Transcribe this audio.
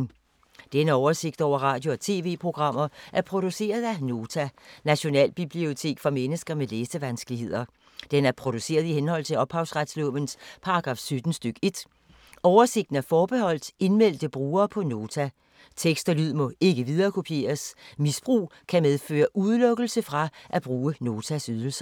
Denne oversigt over radio og TV-programmer er produceret af Nota, Nationalbibliotek for mennesker med læsevanskeligheder. Den er produceret i henhold til ophavsretslovens paragraf 17 stk. 1. Oversigten er forbeholdt indmeldte brugere på Nota. Tekst og lyd må ikke viderekopieres. Misbrug kan medføre udelukkelse fra at bruge Notas ydelser.